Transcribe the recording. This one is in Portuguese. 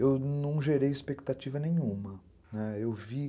eu não gerei expectativa nenhuma, né, eu vi